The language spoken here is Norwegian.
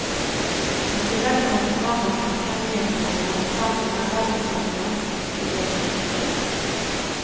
I tillegg kommer programmer som ikke er nyhetssendinger, samt nærradiosendinger som ikke blir registert.